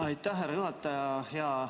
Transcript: Aitäh, härra juhataja!